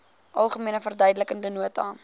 algemene verduidelikende nota